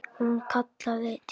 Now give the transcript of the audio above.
Hún kallaði til hans.